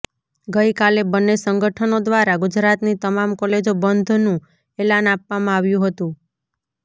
ગઇકાલે બન્ને સંગઠનો દ્વારા ગુજરાતની તમામ કોલેજો બંધનુ એલાન આપવામાં આવ્યુ હતુ